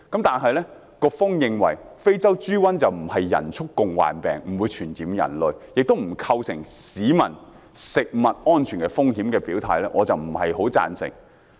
但是，局方認為非洲豬瘟不是人畜共患病，不會傳染人類，亦不構成市民食物安全風險，我對此卻不太贊成。